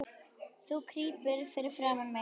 Þú krýpur fyrir framan mig.